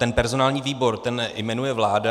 Ten personální výbor, ten jmenuje vláda.